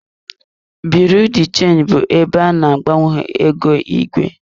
Biriu de chenji bụ ebe a na-agbanwe ego igwe.